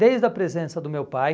Desde a presença do meu pai,